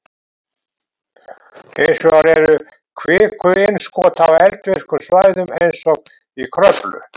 Hins vegar eru kvikuinnskot á eldvirkum svæðum eins og í Kröflu.